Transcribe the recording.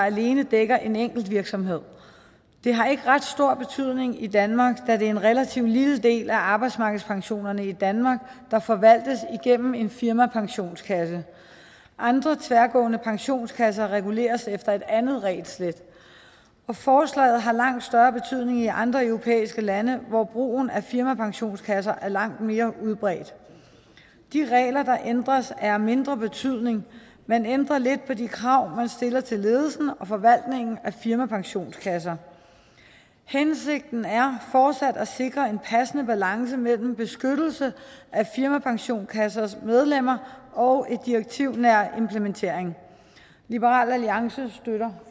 alene dækker en enkeltvirksomhed det har ikke ret stor betydning i danmark da det er en relativt lille del af arbejdsmarkedspensionerne i danmark der forvaltes igennem en firmapensionskasse andre tværgående pensionskasser reguleres efter et andet regelsæt forslaget har langt større betydning i andre europæiske lande hvor brugen af firmapensionskasser er langt mere udbredt de regler der ændres er af mindre betydning man ændrer lidt på de krav man stiller til ledelsen og forvaltningen af firmapensionskasser hensigten er fortsat at sikre en passende balance mellem beskyttelse af firmapensionskassers medlemmer og en direktivnær implementering liberal alliance støtter